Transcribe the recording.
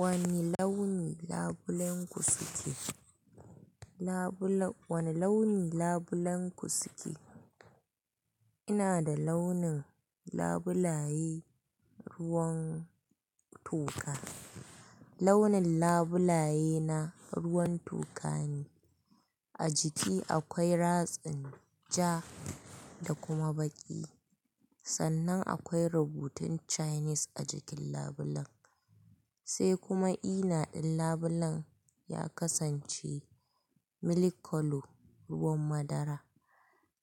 Wane launi labulen ku suke? Wane launi labulen ku suke? Ina da launin labulaye ruwan toka. Launin labulaye na ruwan toka ne. A jiki akwai ratsin ja da kuma baƙi. Sannan akwai rubutun Chinese a jikin labulen. Sai kuma ina in labulen ya kasance milk colour ruwan madara.